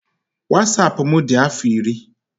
Wasapụ m dị afọ iri.